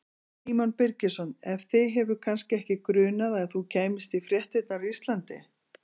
Símon Birgisson: En þig hefur kannski ekki grunað að þú kæmist í fréttirnar á Íslandi?